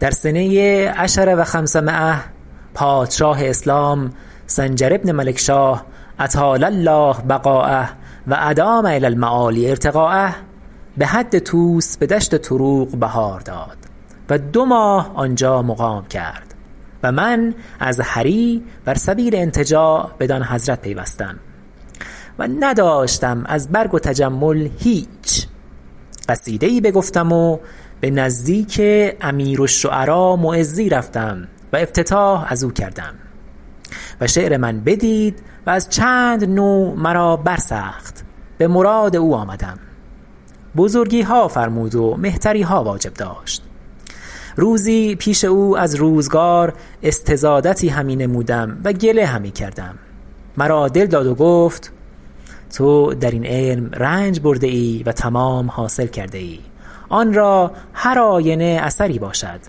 در سنه عشر و خمسمایة پادشاه اسلام سنجر بن ملکشاه اطال الله بقایه و ادام الی المعالی ارتقایه به حد طوس به دشت تروق بهار داد و دو ماه آنجا مقام کرد و من از هری بر سبیل انتجاع بدان حضرت پیوستم و نداشتم از برگ و تجمل هیچ قصیده ای بگفتم و به نزدیک امیر الشعراء معزی رفتم و افتتاح از او کردم و شعر من بدید و از چند نوع مرا برسخت به مراد او آمدم بزرگیها فرمود و مهتریها واجب داشت روزی پیش او از روزگار استزادتی همی نمودم و گله همی کردم مرا دل داد و گفت تو در این علم رنج برده ای و تمام حاصل کرده ای آن را هر آینه اثری باشد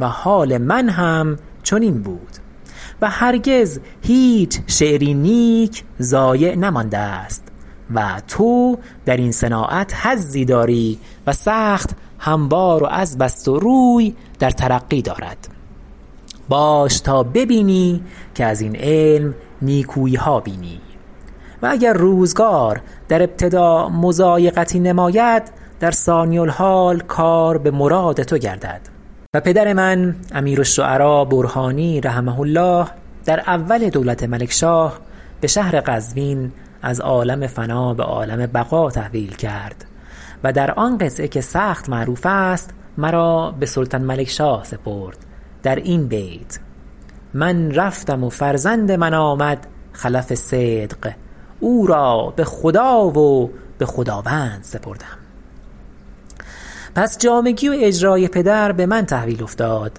و حال من هم چنین بود و هرگز هیچ شعری نیک ضایع نمانده است و تو در این صناعت حظی داری و سخت هموار و عذب است و روی در ترقی دارد باش تا ببینی که از این علم نیکوییها بینی و اگر روزگار در ابتدا مضایقتی نماید در ثانی الحال کار بمراد تو گردد و پدر من امیر الشعراء برهانی رحمه الله در اول دولت ملکشاه به شهر قزوین از عالم فنا به عالم بقا تحویل کرد و در آن قطعه که سخت معروف است مرا به سلطان ملکشاه سپرد در این بیت من رفتم و فرزند من آمد خلف صدق او را به خدا و به خداوند سپردم پس جامگی و اجراء پدر به من تحویل افتاد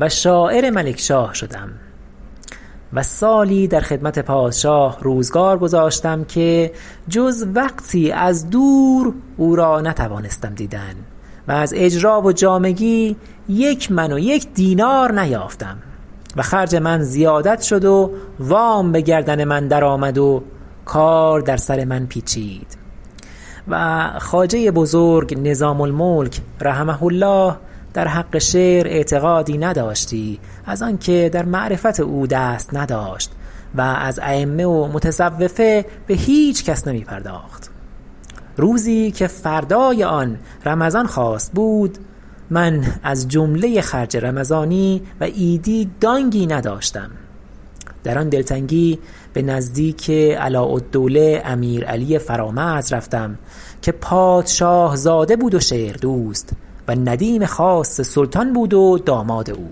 و شاعر ملکشاه شدم و سالی در خدمت پادشاه روزگار گذاشتم که جز وقتی از دور او را نتوانستم دیدن و از اجرا و جامگی یک من و یک دینار نیافتم و خرج من زیادت شد و وام به گردن من درآمد و کار در سر من پیچید و خواجه بزرگ نظام الملک رحمه الله در حق شعر اعتقادی نداشتی از آن که در معرفت او دست نداشت و از ایمه و متصوفه به هیچ کس نمی پرداخت روزی که فردای آن رمضان خواست بود من از جمله خرج رمضانی و عیدی دانگی نداشتم در آن دلتنگی به نزدیک علاء الدولة امیر علی فرامرز رفتم که پادشاه زاده بود و شعر دوست و ندیم خاص سلطان بود و داماد او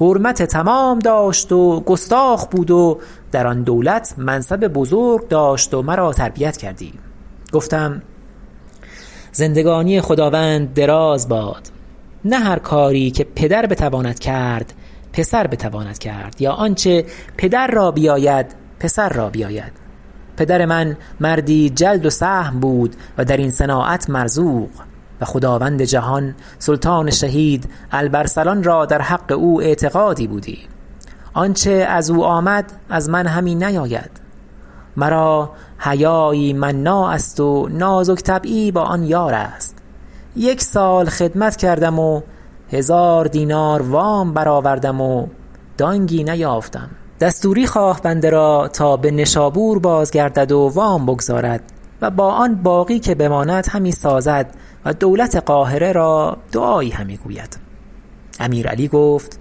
حرمت تمام داشت و گستاخ بود و در آن دولت منصب بزرگ داشت و مرا تربیت کردی گفتم زندگانی خداوند دراز باد نه هر کاری که پدر بتواند کرد پسر بتواند کرد یا آنچه پدر را بیاید پسر را بیاید پدر من مردی جلد و سهم بود و در این صناعت مرزوق و خداوند جهان سلطان شهید الب ارسلان را در حق او اعتقادی بودی آنچه از او آمد از من همی نیاید مرا حیایی مناع است و نازک طبعی با آن یار است یک سال خدمت کردم و هزار دینار وام برآوردم و دانگی نیافتم دستوری خواه بنده را تا به نشابور بازگردد و وام بگزارد و با آن باقی که بماند همی سازد و دولت قاهره را دعایی همی گوید امیر علی گفت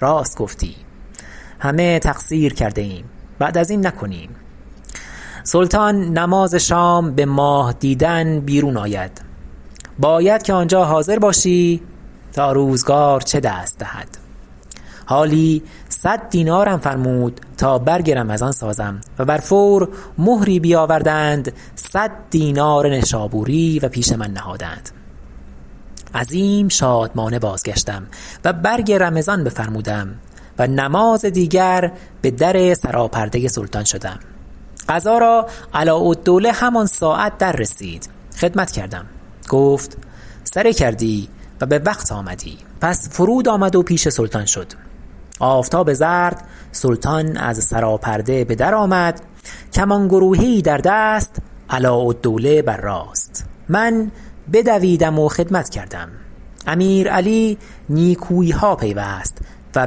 راست گفتی همه تقصیر کرده ایم بعد از این نکنیم سلطان نماز شام به ماه دیدن بیرون آید باید که آنجا حاضر باشی تا روزگار چه دست دهد حالی صد دینارم فرمود تا برگ رمضان سازم و بر فور مهری بیاوردند صد دینار نشابوری و پیش من نهادند عظیم شادمانه بازگشتم و برگ رمضان بفرمودم و نماز دیگر به در سراپرده سلطان شدم قضا را علاء الدوله همان ساعت در رسید خدمت کردم گفت سره کردی و به وقت آمدی پس فرود آمد و پیش سلطان شد آفتاب زرد سلطان از سرا پرده به در آمد کمان گروهه ای در دست علاءالدوله بر راست من بدویدم و خدمت کردم امیر علی نیکوییها پیوست و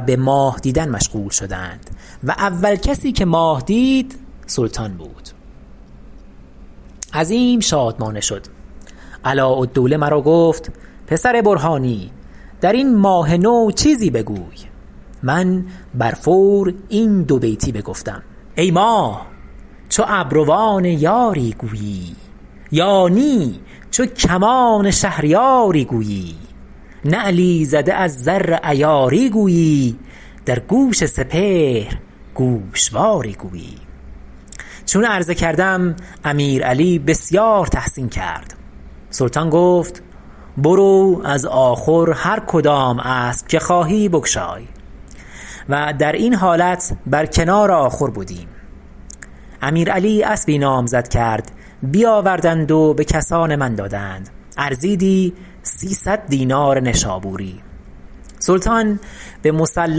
به ماه دیدن مشغول شدند و اول کسی که ماه دید سلطان بود عظیم شادمانه شد علاءالدوله مرا گفت پسر برهانی در این ماه نو چیزی بگوی من برفور این دو بیتی بگفتم ای ماه چو ابروان یاری گویی یا نی چو کمان شهریاری گویی نعلی زده از زر عیاری گویی در گوش سپهر گوشواری گویی چون عرضه کردم امیر علی بسیاری تحسین کرد سلطان گفت برو از آخور هر کدام اسب که خواهی بگشای و در این حالت بر کنار آخور بودیم امیر علی اسبی نامزد کرد بیاوردند و به کسان من دادند ارزیدی سیصد دینار نشابوری سلطان به مصلی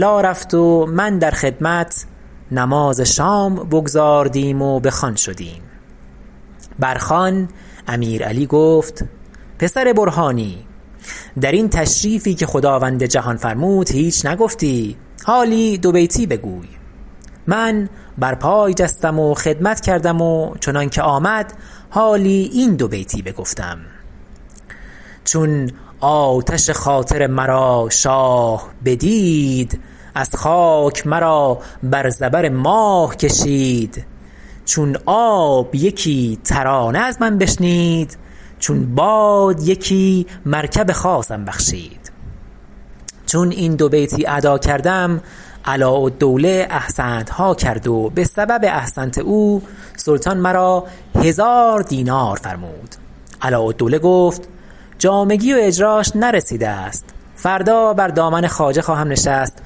رفت و من در خدمت نماز شام بگزاردیم و به خوان شدیم بر خوان امیر علی گفت پسر برهانی درین تشریفی که خدواند جهان فرمود هیچ نگفتی حالی دو بیتی بگوی من بر پای جستم و خدمت کردم و چنانکه آمد حالی این دو بیتی بگفتم چون آتش خاطر مرا شاه بدید از خاک مرا بر زبر ماه کشید چون آب یکی ترانه از من بشنید چون باد یکی مرکب خاصم بخشید چون این دو بیتی ادا کردم علاءالدوله احسنتها کرد و به سبب احسنت او سلطان مرا هزار دینار فرمود علاءالدوله گفت جامگی و اجراش نرسیده است فردا بر دامن خواجه خواهم نشست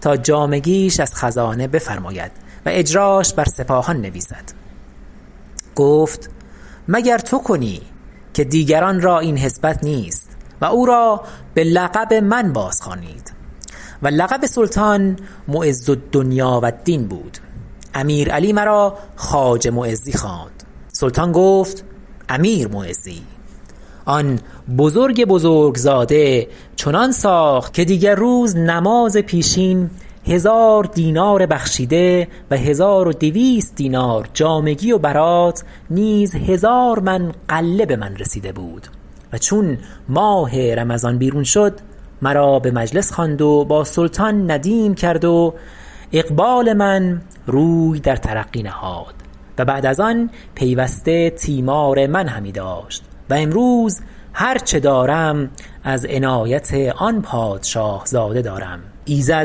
تا جامگیش از خزانه بفرماید و اجراش بر سپاهان نویسد گفت مگر تو کنی که دیگران را این حسبت نیست و او را به لقب من بازخوانید و لقب سلطان معز الدنیا و الدین بود امیرعلی مرا خواجه معزی خواند سلطان گفت امیر معزی آن بزرگ بزرگ زاده چنان ساخت که دیگر روز نماز پیشین هزار دینار بخشیده و هزار و دویست دینار جامگی و برات نیز هزار من غله به من رسیده بود و چون ماه رمضان بیرون شد مرا به مجلس خواند و با سلطان ندیم کرد و اقبال من روی در ترقی نهاد و بعد از آن پیوسته تیمار من همی داشت و امروز هر چه دارم از عنایت آن پادشاه زاده دارم ایزد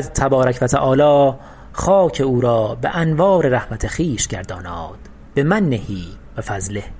تبارک و تعالی خاک او را به انوار رحمت خوش گرداناد بمنه و فضله